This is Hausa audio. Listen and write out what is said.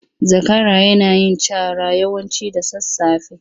Zakara yana yin cara yawanci da sasafe.